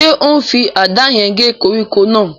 Ṣé ó n fi àdá yẹn gé koríko náà?